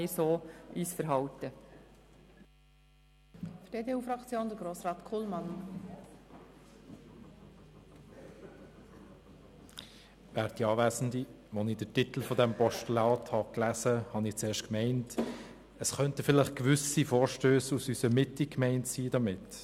Als ich den Titel dieses Postulats las, meinte ich zuerst, dass hiermit vielleicht gewisse Vorstösse aus unserer Mitte gemeint sein könnten.